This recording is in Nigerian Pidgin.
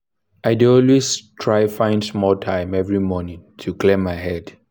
i dey always try find small time every morning to clear my head.